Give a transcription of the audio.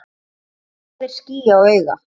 Hvað er ský á auga?